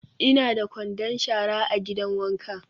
Ina da kwandon shara a gidan wanka.